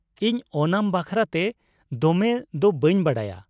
ᱤᱧ ᱳᱱᱟᱢ ᱵᱟᱠᱷᱨᱟᱛᱮ ᱫᱚᱢᱮ ᱫᱚ ᱵᱟᱹᱧ ᱵᱟᱲᱟᱭᱟ ᱾